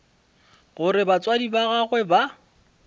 gore batswadi ba gagwe ba